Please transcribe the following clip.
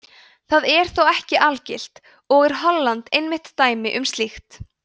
það er þó ekki algilt og er holland einmitt dæmi um slíkt